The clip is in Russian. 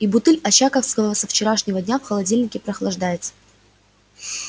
и бутыль очаковского со вчерашнего дня в холодильнике прохлаждается